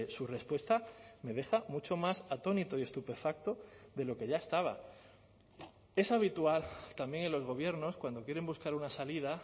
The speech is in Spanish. su respuesta me deja mucho más atónito y estupefacto de lo que ya estaba es habitual también en los gobiernos cuando quieren buscar una salida